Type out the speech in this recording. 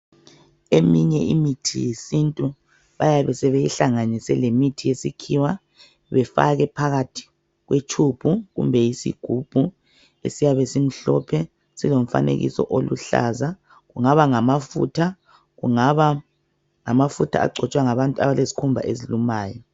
Eminye imithi yesintu, bayabe sebeyihlanganise lemithi yesikhiwa. Befake phakathi kwetshubhu, kumbe yisigubhu, esiyabe simhlophe. Silomfanekiso oluhlaza. Kungaba ngamafutha, kungaba ngamafutha agcotshwa ngabantu, abalezikhumba ezilumayo.